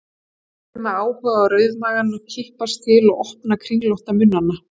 Hann horfði með áhuga á rauðmagana kippast til og opna kringlótta munnana.